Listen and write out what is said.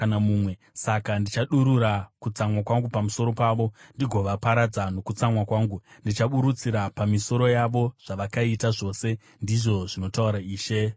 Saka ndichadurura kutsamwa kwangu pamusoro pavo ndigovaparadza nokutsamwa kwangu, ndichiburutsira pamisoro yavo zvavakaita zvose, ndizvo zvinotaura Ishe Jehovha.”